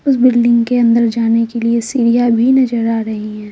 उस बिल्डिंग के अंदर जाने के लिए सीडिया भी नजर आ रही है।